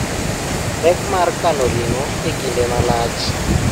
Pek mar kano ring'o e kinde malach.